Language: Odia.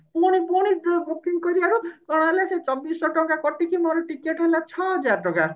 ପୁଣି ପୁଣି booking କରିବାରୁ କଣ ହେଲା ସେଇ ଚବିଶି ଶହ ଟଙ୍କା କଟିକିରି ମୋର ticket ହେଲା ଛଅ ହଜାର ଟଙ୍କା